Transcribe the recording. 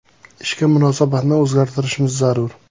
Ishga munosabatni o‘zgartirishimiz zarur.